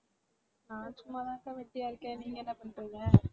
நான் சும்மாதான்கா வெட்டியா இருக்கேன். நீங்க என்ன பண்றீங்க?